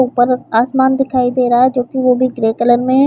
ऊपर आसमान दिखाई दे रहा है जो की ग्रे कलर में है।